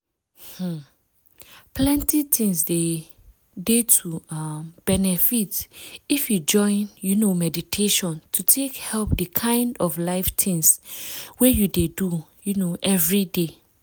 um plenty things dey to um benefit if you join you know meditation to take help the kind of life things wey you dey do um everyday.